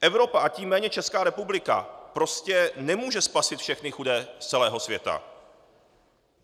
Evropa, a tím méně Česká republika prostě nemůže spasit všechny chudé z celého světa.